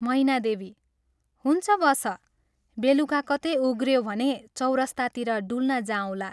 मैनादेवी " हुन्छ बस, बेलुका कतै उम्रयो भने चौरस्तातिर डुल्न जाऔंला।